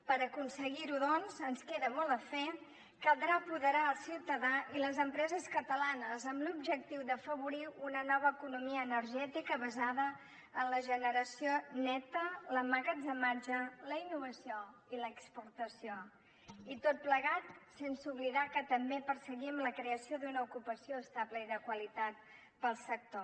per aconseguir ho doncs ens queda molt a fer caldrà apoderar el ciutadà i les empreses catalanes amb l’objectiu d’afavorir una nova economia energètica basada en la generació neta l’emmagatzematge la innovació i l’exportació i tot plegat sense oblidar que també perseguim la creació d’una ocupació estable i de qualitat pel sector